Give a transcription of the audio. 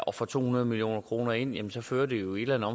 og får to hundrede million kroner ind jamen så fører det jo i et eller